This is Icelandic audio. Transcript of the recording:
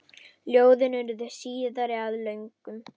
Ljóðin urðu síðar að lögum.